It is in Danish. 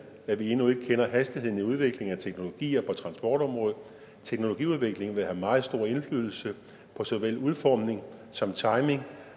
at vi endnu ikke kender hastigheden i udviklingen af teknologier på transportområdet teknologiudviklingen vil have meget stor indflydelse på såvel udformning som timing